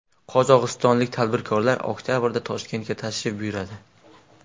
Qozog‘istonlik tadbirkorlar oktabrda Toshkentga tashrif buyuradi.